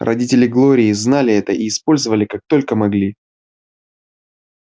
родители глории знали это и использовали как только могли